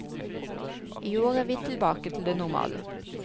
I år er vi tilbake til det normale.